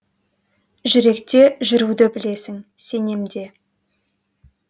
жүректе жүруді білесің сенем де